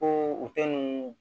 Ko u tɛ nun